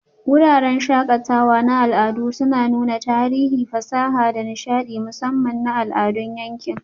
Wuraren shakatawa na al'adu suna nuna tarihi, fasaha, da nishaɗi, musamman na al'adun yanki.